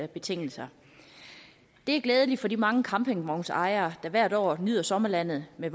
betingelser det er glædeligt for de mange campingvognsejere der hvert år nyder sommerlandet med